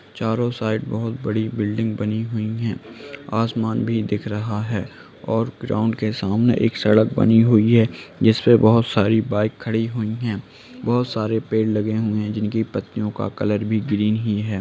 चारों साइड बहुत बड़ी बिल्डिंग बनी हुई हैं आसमान भी दिख रहा है और ग्राउन्ड के सामने एक सड़क बनी हुई है जिसपे बहुत सारी बाइक खड़ी हुई हैं | बहुत सारे पेड़ लगे हुए हैं जीनकी पत्तियों का कलर भी ग्रीन ही है।